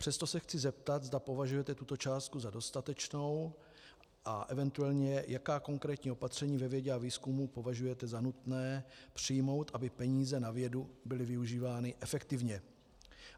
Přesto se chci zeptat, zda považujete tuto částku za dostatečnou a eventuálně jaká konkrétní opatření ve vědě a výzkumu považujete za nutné přijmout, aby peníze na vědu byly využívány efektivně.